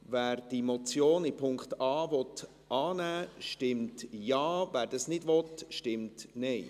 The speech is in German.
Wer die Motion in Punkt a annehmen will, stimmt Ja, wer das nicht will, stimmt Nein.